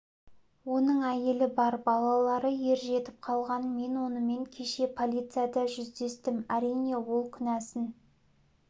оның әйелі бар балалары ер жетіп қалған мен онымен кеше полицияда жүздестім әрине ол кінәсін